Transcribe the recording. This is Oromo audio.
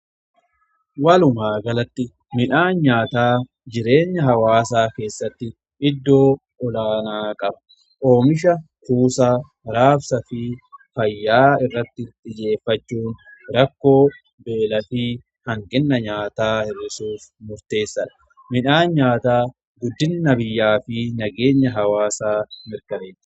Walumaa galatti midhaan nyaataa jireenya hawaasaa keessatti iddoo olaanaa qaba. Oomisha, kuusaa, raabsaa fi fayyaa irratti xiyyeeffachuun rakkoo beelaa fi hanqina nyaataa hir'isuuf murteessadha. Midhaan nyaataa guddina biyyaa fi nageenya hawaasaa mirkaneessa.